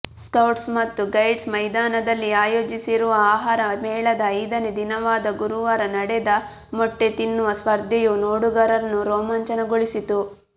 scouts ಮತ್ತು guides ಮೈದಾನದಲ್ಲಿ ಆಯೋಜಿಸಿರುವ ಆಹಾರ ಮೇಳದ ಐದನೇ ದಿನವಾದ ಗುರುವಾರ ನಡೆದ ಮೊಟ್ಟೆತಿನ್ನುವ ಸ್ಪರ್ಧೆಯು ನೋಡುಗರನ್ನು ರೋಮಾಂಚನಗೊಳಿಸಿತು